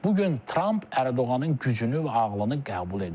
Bu gün Tramp Ərdoğanın gücünü və ağlını qəbul edir.